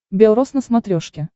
белрос на смотрешке